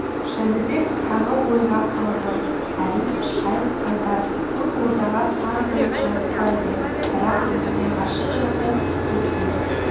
жәнібек тағы ойға қалды әрине шайх-хайдар көк ордаға хан болып жарытпайды бірақ оның нағашы жұрты өзбек